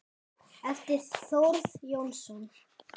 eftir Þórð Jónsson